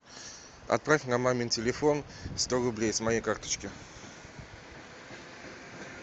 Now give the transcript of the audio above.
отправь на мамин телефон сто рублей с моей карточки